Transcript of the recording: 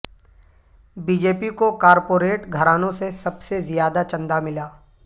B J پی کو corporate گھرانوں سے سب سے زیادہ چندہ ملا